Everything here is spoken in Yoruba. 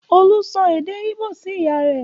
Olú sọ èdè Ìgbò sí ìyá rẹ̀.